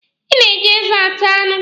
Ị na-eji eze ata anụ.